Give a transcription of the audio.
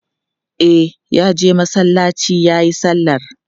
E, ya je masallaci ya yi sallar.